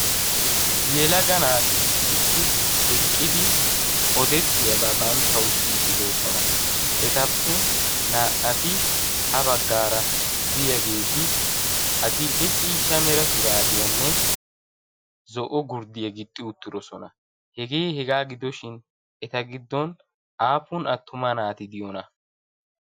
yelaga naati issippe eqqidi odettiyaabaa banttau siyiddidoosona etappe naa"ati ha baggaara diyaageeti adil"e ciishsha mera shuraabiyaanne zo'o gurddiya gixxi uttidosona hegee hegaa gidoshin eta giddon aapun attuma naati diyona?